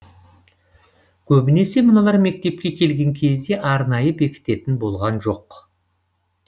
көбінесе мыналар мектепке келген кезде арнайы бекітетін болған жоқ